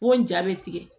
O ja bɛ tigɛ